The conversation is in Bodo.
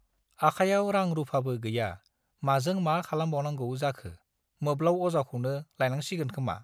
आखायाव रां रूफाबो गैया माजों मा खालामबावनांगै जाखो मोब्लाउ अजाखौनो लायनांसिगोन खोमा